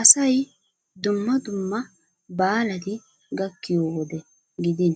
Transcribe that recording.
Asay dumma dumma baalati gakkiyo wode gidin